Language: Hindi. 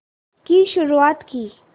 की शुरुआत की